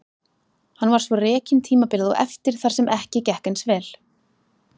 Hann var svo rekinn tímabilið á eftir þar sem ekki gekk eins vel.